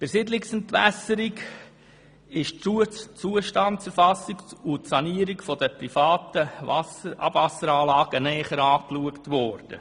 Bei der Siedlungsentwässerung wurden die Zustandserfassung und die Sanierung der privaten Abwasseranlagen näher angeschaut.